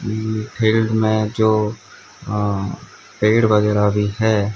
Field में जो अं पेड़ वगैरा भी हैं।